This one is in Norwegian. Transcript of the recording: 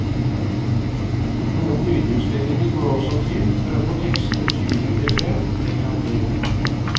Noen lydjusteringer må også til, for å få tekstene tydeligere frem, legger han til.